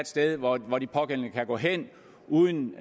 sted hvor hvor de pågældende kan gå hen uden